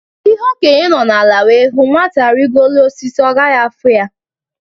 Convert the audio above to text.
Ihe Okenye nọ ala wee hụ, Nwata rigoo elu osisi, ọ gaghị afụ ya